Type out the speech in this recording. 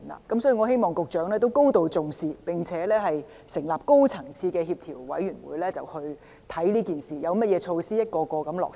所以，我希望局長能對此高度重視，並成立高層次的協調委員會檢視這事，研究有何措施可逐一落實。